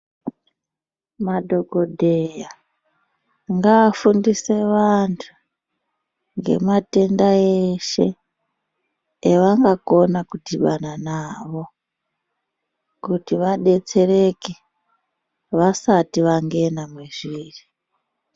Madhokodheya, ngaafundise vantu ngematenda eshe, evangakona kudhibana nawo kuti vadetsereke, vasati vangena mwezviri.